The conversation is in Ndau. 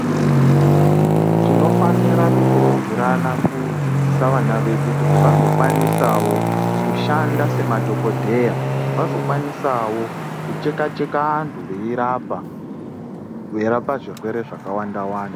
Tinofanira kukurudzirana kudzidzisa vana vedu kuti vazokwanisawo kushanda semadhokodheya vazokwanisawo kucheka - cheka antu veirapa , veirapa zvirwere zvakawanda wanda